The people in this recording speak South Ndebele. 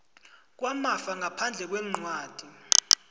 kwamafa ngaphandle kwencwadi